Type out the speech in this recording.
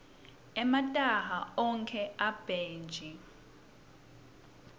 emataha ogwke emabhetji